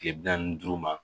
Kile bi naani ni duuru ma